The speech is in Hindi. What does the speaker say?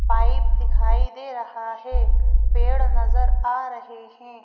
पाइप दिखाई दे रहा है पेड़ नजर आ रहे हैं।